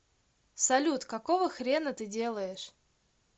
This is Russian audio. салют какого хрена ты делаешь